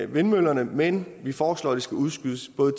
vindmøllerne men vi foreslog at de skulle udskydes både